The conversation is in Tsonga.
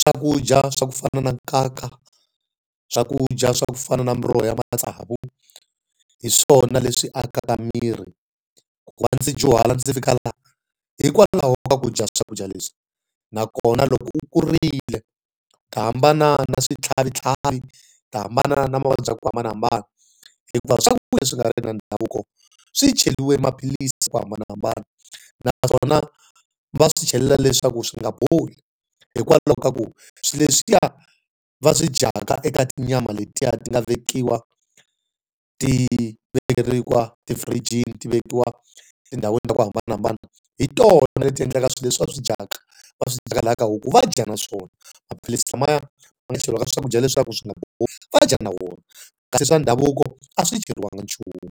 swakudya swa ku fana na nkaka, swakudya swa ku fana na miroho ya matsavu, hi swona leswi akaka miri. Ku va ndzi dyuhala ndzi fika la, hikwalaho ka ku dya swakudya leswi. Na kona loko u kurile u ta hambana na swi tlhavitlhavi, u ta hambana na mavabyi ku hambanahambana, hikuva swakudya leswi nga ri ki swa ndhavuko swi chweriwe maphilisi hi ku hambanahambana. Naswona va swi chelela leswaku swi nga boli, hikwalaho ka ku swilo leswiya va swi dyaka eka tinyama letiya ti nga vekiwa, ti vekeriwa tifirijini ti vekiwa tindhawini to hambanahambana, hi tona leti endlaka ku swilo leswi va swi dyaka, va swi dyaka laha ka huku va dya na swona. Maphilisi lamaya ma nga cheriwa ka swakudya leswaku swi nga bohi va dya na wona. Kasi swa ndhavuko a swi cheriwanga nchumu.